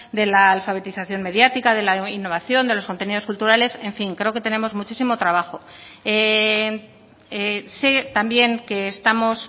de la alfabetización mediática de la innovación de los contenidos culturales en fin creo que tenemos muchísimo trabajo sé también que estamos